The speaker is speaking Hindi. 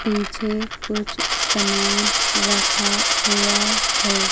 पीछे कुछ सामान रखा हुआ है।